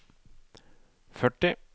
førti